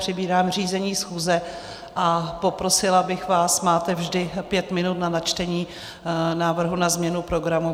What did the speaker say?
Přebírám řízení schůze a poprosila bych vás, máte vždy pět minut na načtení návrhu na změnu programu.